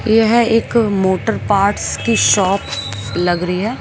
यह है एक मोटर पार्ट्स की शॉप लग रही है।